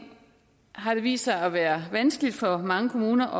har det vist sig at være vanskeligt for mange kommuner